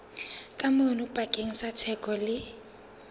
kamano pakeng tsa theko le